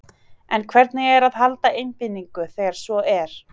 En hvernig er að halda einbeitingu þegar svo er?